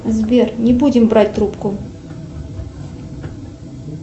сбер не будем брать трубку